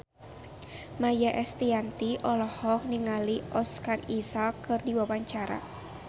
Maia Estianty olohok ningali Oscar Isaac keur diwawancara